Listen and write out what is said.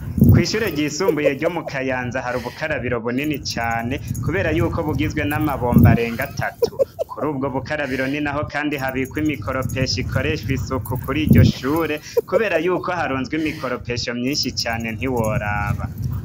Kwishure ryisumbuye ryo mu Kayanza harubukarabiro bunini cane ,kubera yuko bugizwe n’amabombo areng’atatu. Kurubwo bukarabiro ninaho kandi habikwa imikoropesho ikoreshwa isuku kuriryo shure, kubera yuko harunzwe imikoropesho myinshi cane ntiworaba.